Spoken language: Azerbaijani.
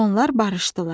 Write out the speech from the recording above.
Onlar barışdılar.